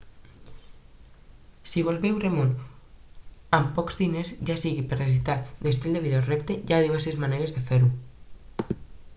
si vols veure món amb pocs diners ja sigui per necessitat estil de vida o repte hi ha diverses maneres de fer-ho